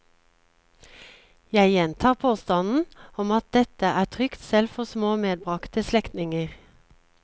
Jeg gjentar påstanden om at dette er trygt selv for små medbragte slektninger.